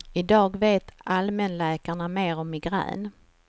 I dag vet allmänläkarna mer om migrän.